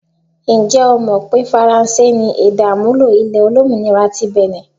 Ǹjẹ́ o mọ̀ pé faransé ni èdè-àmúlò ilẹ̀ olómìnira ti Bìnì?